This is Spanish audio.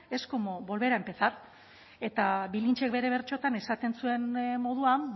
es como volver a empezar eta bilintxek bere bertsotan esaten zuen moduan